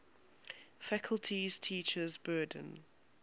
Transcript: faculty's teaching burden